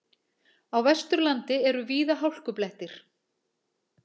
Á Vesturlandi eru víða hálkublettir